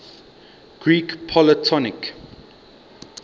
greek polytonic